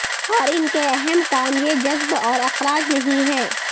اور ان کے اہم کام یہ جذب اور اخراج نہیں ہے